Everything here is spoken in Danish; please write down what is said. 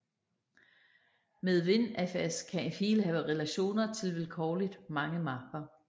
Med WinFS kan en fil have relationer til vilkårligt mange mapper